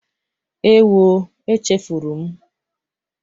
Ewo! Echefuru m